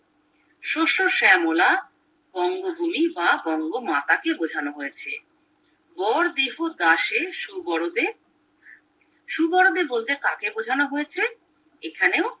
শস্য শ্যামলা বঙ্গভূমি বা বঙ্গমাতাকে বোঝানো হয়েছে মোর দেহ দাসী সুবোরোদে সুবোরোদে বলতে কাকে বোঝানো হয়েছে এখানেও